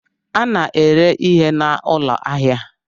A na-ere ihe n'ụlọ ahịa